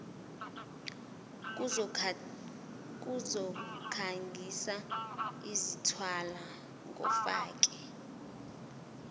zokukhangisa zithwalwa ngofake